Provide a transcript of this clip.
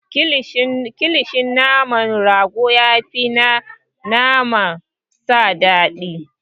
Kilishin naman rago ya fi na naman sa dadii.